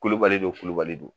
Kulubali don kulubali don